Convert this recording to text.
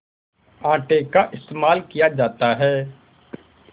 आटे का इस्तेमाल किया जाता है